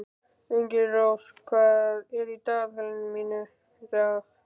Engilrós, hvað er í dagatalinu í dag?